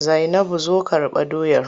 Zainabu zo Kirɓa doyar!